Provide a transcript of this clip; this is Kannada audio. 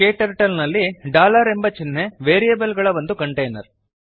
ಕ್ಟರ್ಟಲ್ ನಲ್ಲಿ ಡಾಲರ್ ಎಂಬ ಚಿಹ್ನೆ ವೇರಿಯೇಬಲ್ಸ್ ಗಳ ಒಂದು ಕಂಟೇನರ್